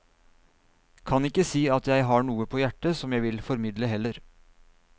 Kan ikke si at jeg har noe på hjerte som jeg vil formidle heller.